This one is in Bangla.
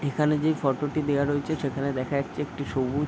এখানে যে ফটো -টি দেওয়া রয়েছে সেখানে দেখা যাচ্ছে একটি সবুজ--